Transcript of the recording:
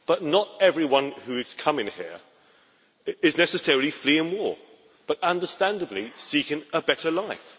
Not everyone who is coming here is necessarily fleeing war, but understandably seeking a better life.